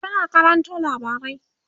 tana karanto labarai